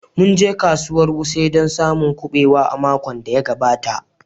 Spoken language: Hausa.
Mun je kasuwar wuse don samun kubewa a makon da ya gabata